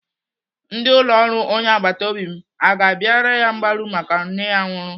Ndị ụlọ ọrụ onye agbataobi m aga abịara ya mgbaru maka nne ya nwụrụ?